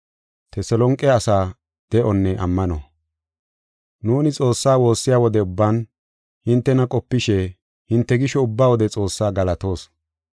Nuuni Xoossaa woossiya wode ubban hintena qopishe hinte gisho ubba wode Xoossaa galatoos.